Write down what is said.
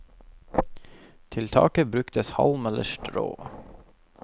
Til taket bruktes halm eller strå.